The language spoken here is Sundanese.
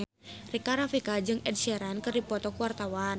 Rika Rafika jeung Ed Sheeran keur dipoto ku wartawan